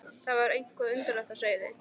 Það var eitthvað undarlegt á seyði.